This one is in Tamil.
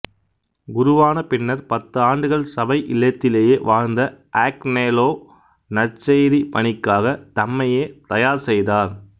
குருவான பின்னர் பத்து ஆண்டுகள் சபை இல்லத்திலேயே வாழ்ந்த ஆக்னெலோ நற்செய்தி பணிக்காக தம்மையே தயார் செய்தார்